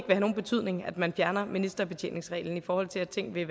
have nogen betydning at man fjerner ministerbetjeningsreglen i forhold til at ting vil